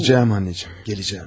Gələcəyəm anneciğim, gələcəyəm.